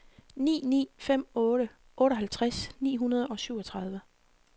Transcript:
ni ni fem otte otteoghalvtreds ni hundrede og syvogtredive